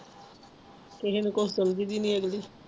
ਤੁਹੀ ਕੁਛ ਕਹਿੰਦੇ ਵੀ ਨਹੀਂ ਅਗਲੀ